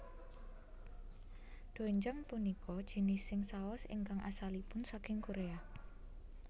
Doenjang punika jinising saos ingkang asalipun saking Korea